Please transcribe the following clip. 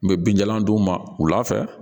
N bɛ binjalan d'u ma wulafɛ